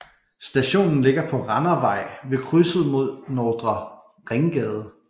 Stationen ligger på Randervej ved krydset med Nordre Ringgade